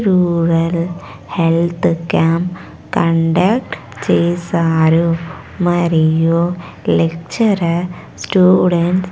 rural health camp conduct చేసారు మరియు lecturer students --